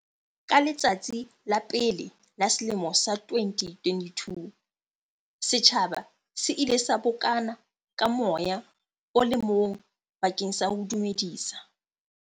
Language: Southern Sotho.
Ka letsatsi la pele la selemo sa 2022, setjhaba se ile sa bokana ka moya o le mong bakeng sa ho dumedisa.